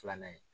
Filanan ye